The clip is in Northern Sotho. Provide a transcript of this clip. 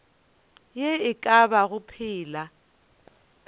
ye e ka bago phela